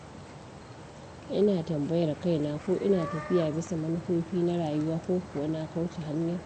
Ina tambayar kaina ko ina tafiya bisa manufofi na rayuwa ko kuwa na kauce hanya.